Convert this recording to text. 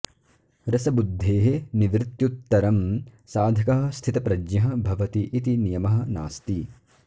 रसबुद्धेः निवृत्त्युत्तरं साधकः स्थितप्रज्ञः भवति इति नियमः नास्ति